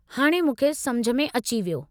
हाणे मूंखे समुझ अची वियो।